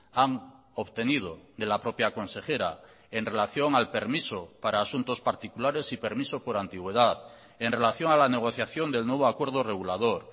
han obtenido de la propia consejera en relación al permiso para asuntos particulares y permiso por antigüedad en relación a la negociación del nuevo acuerdo regulador